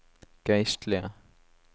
geistlige